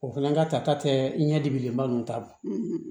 O fana ka tata tɛ ɲɛ dibilenba ninnu ta